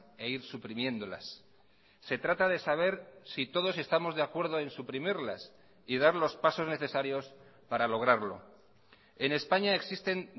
e ir suprimiéndolas se trata de saber si todos estamos de acuerdo en suprimirlas y dar los pasos necesarios para lograrlo en españa existen